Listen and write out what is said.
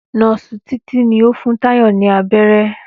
Nóòsì Títí ni ó fún Táyò ní abéré